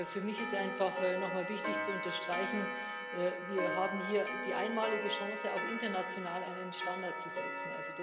Für mich ist es einfach wichtig, nochmal zu unterstreichen Wir haben hier die einmalige Chance, auch international einen Standard zu setzen.